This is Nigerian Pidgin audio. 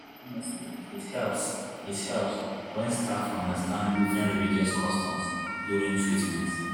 honestly it helps it helps when staff understand different religious customs during treatment.